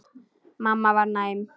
Mamma var næm.